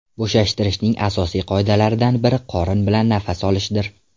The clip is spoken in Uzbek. Bo‘shashtirishning asosiy qoidalaridan biri qorin bilan nafas olishdir.